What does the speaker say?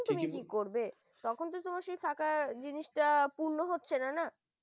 তুমি কি করবে তখন তো তোমার সেই ফাঁকা জিনিসটা পূর্ণ হচ্ছে না, না